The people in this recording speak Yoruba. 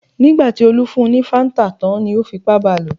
Nígbà tí Olú fún un ní Fanta tán ni ó fipá ba lò.